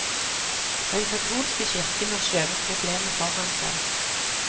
Den katolske kirken har skjøvet problemet foran seg.